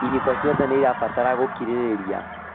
Ihiko ciothe nĩirabatara gũkirĩrĩria